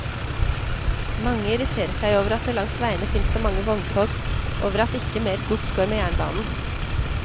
Mange irriterer seg over at det langs veiene finnes så mange vogntog, over at ikke mer gods går med jernbanen.